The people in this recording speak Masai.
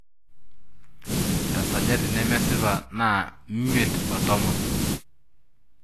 Esajati nemesipa naa miet o tomon.